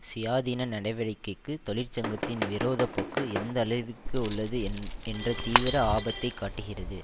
சுயாதீன நடவடிக்கைக்கு தொழிற்சங்கத்தின் விரோத போக்கு எந்த அளவிற்கு உள்ளது என்ற தீவிர ஆபத்தை காட்டுகிறது